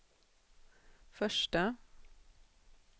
första